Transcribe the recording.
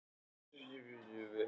Og þessu sníkjudýri að hypja sig!